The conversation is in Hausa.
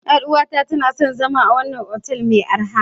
Yar uwata tana son zama a wannan otel mai arha.